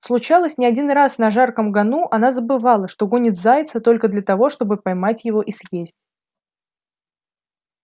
случалось не один раз на жарком гону она забывала что гонит зайца только для того чтобы поймать его и съесть